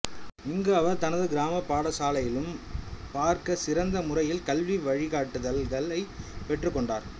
இங்கு அவர் தனது கிராமப் பாடசாலையிலும் பார்க்க சிறந்த முறையில் கல்வி வழிகாட்டுதல்களைப் பெற்றுக்கொண்டார்